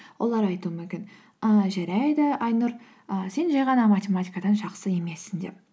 олар айтуы мүмкін ыыы жарайды айнұр ы сен жай ғана математикадан жақсы емессің деп